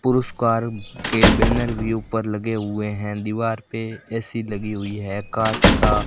पुरस्कार के बैनर भी ऊपर लगे हुए हैं दीवार पे ए_सी लगी हुई है कांच का --